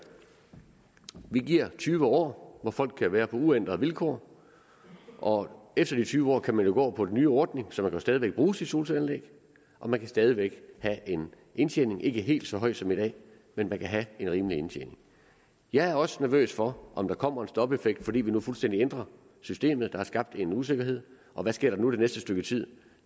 vi giver tyve år hvor folk kan være på uændrede vilkår og efter de tyve år kan man jo gå over på den nye ordning så man kan jo stadig væk bruge sit solcelleanlæg og man kan stadig væk have en indtjening ikke helt så høj som i dag men man kan have en rimelig indtjening jeg er også nervøs for om der kommer en stopeffekt fordi vi nu fuldstændig ændrer systemet der er skabt en usikkerhed og hvad sker der nu og det næste stykke tid